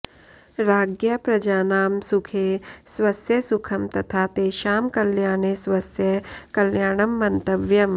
राज्ञा प्रजानां सुखे स्वस्य सुखं तथा तेषां कल्याणे स्वस्य कल्याणं मन्तव्यम्